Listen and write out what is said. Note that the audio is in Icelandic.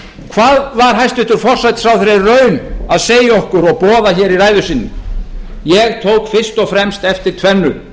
hvað var hæstvirtur forsætisráðherra í raun að segja okkur og boða í ræðu sinni ég tók fyrst og fremst eftir tvennu